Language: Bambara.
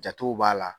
Jatew b'a la